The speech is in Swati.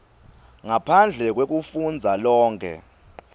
ngaphandle kwekufundza lonkhe